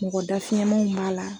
Mɔgɔ dafiyɛmanw b'a la